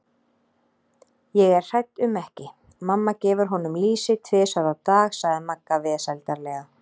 Ég er hrædd um ekki, mamma gefur honum lýsi tvisvar á dag sagði Magga vesældarlega.